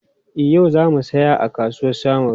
E, yau za mu saya a kasuwar Samaru.